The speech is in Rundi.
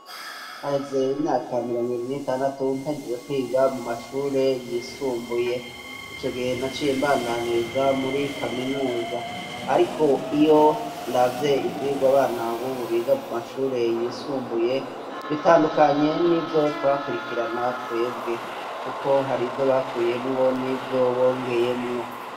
Haheze imyaka mirongo ibiri n'itandatu mpejeje kwiga mu mashure yisumbuye . Icogihe naciye imbandaniriza muri kaminuza ariko iyo ndavye ivyigwa abana bubu biga mu mashure yisumbuye bitandukanye n'ivyo twakurikirana twebwe kuko hari ibyyo bakuyemwo n'ivyo bongeyemwo.